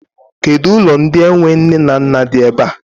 Kedụ ụlọ ndị enwe nne na nna di ebe a?